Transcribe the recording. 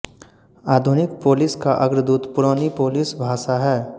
आधुनिक पोलिश का अग्रदूत पुरानी पोलिश भाषा है